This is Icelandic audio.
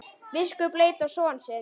Biskup leit á son sinn.